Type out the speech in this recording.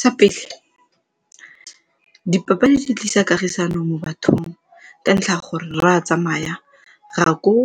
Sa pele, dipapadi di tlisa kagisano mo bathong ka ntlha ya gore re a tsamaya re ya koo